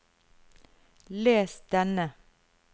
les denne